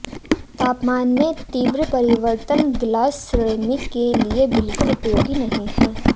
तापमान में तीव्र परिवर्तन ग्लास सिरेमिक के लिए बिल्कुल उपयोगी नहीं हैं